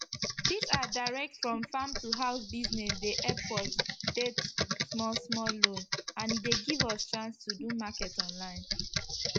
dis our direct from farm to house business dey epp us det small small loan and e dey give us chance to do market online